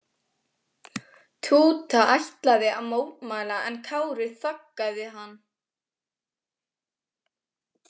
Túta ætlaði að mótmæla en Kári þaggaði hann.